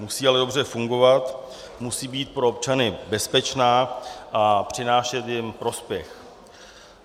Musí ale dobře fungovat, musí být pro občany bezpečná a přinášet jim prospěch.